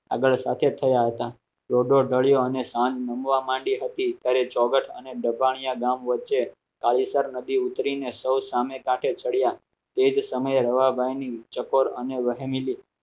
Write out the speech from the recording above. આગળ સાથે થયા હતા ત્યારે ચોગઠ અને દબાણીયા ગામ વચ્ચે કાલિચર નદી ઉતરીને સૌ સામે કાંઠે ચડ્યા એ જ સમયે રવાભાઈની ચકોર અને વહેમિલી